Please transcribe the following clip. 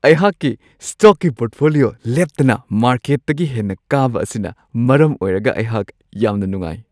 ꯑꯩꯍꯥꯛꯀꯤ ꯁ꯭ꯇꯣꯛꯀꯤ ꯄꯣꯔꯠꯐꯣꯂꯤꯌꯣ ꯂꯦꯞꯇꯅ ꯃꯥꯔꯀꯦꯠꯇꯒꯤ ꯍꯦꯟꯅ ꯀꯥꯕ ꯑꯁꯤꯅ ꯃꯔꯝ ꯑꯣꯏꯔꯒ ꯑꯩꯍꯥꯛ ꯌꯥꯝꯅ ꯅꯨꯡꯉꯥꯏ ꯫